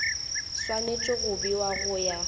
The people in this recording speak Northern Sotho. swanetše go bewa go ya